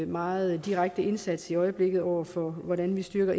meget direkte indsats i øjeblikket over for indbrudstyve og hvordan vi styrker